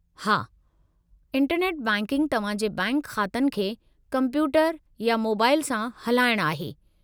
हां, internet banking तव्हां जे बैंक ख़ातनि खे कंप्यूटर या मोबाइल सां हलाइणु आहे।